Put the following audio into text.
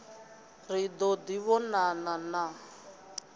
ri ḓo ḓi vhonana na